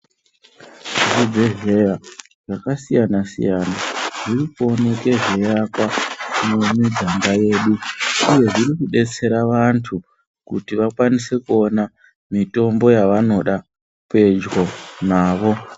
Zvibhedhlera zvakasiyana-siyana zviri kuoneke zveiakwa mumiganga yedu, uye zviri kudetsera vantu kuti vakwanise kuona mitombo yavanoda pedyo navo.